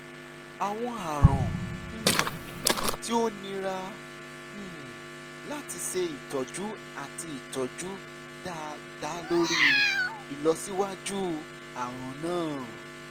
awọn arun um ti o nira um lati ṣe itọju ati itọju da lori ilọsiwaju arun naa